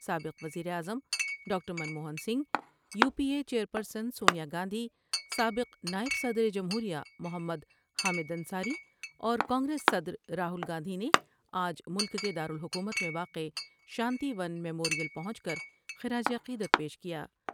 سابق وزیراعظم doctor Manmohan Singh, U P A chairperson Sonia Gandhi, سابق نائب صدر جمہور ی محمد حامد انصاری اور کانگریس صدر راہول گاندھی نے آج ملک کے دارالحکومت میں واقع شانتی ون میمور میں پہنچ کر خراج عقیدت پیش کیا ۔